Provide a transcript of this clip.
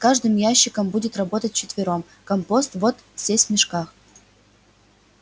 с каждым ящиком будет работать вчетвером компост вот здесь в мешках